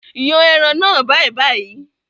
Yàn ẹran náà bàìbàì!